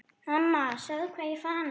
Mamma sjáðu hvað ég fann!